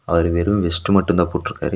அவரு வெரு வெஸ்ட் மட்டுந்தா போட்ருகாரு.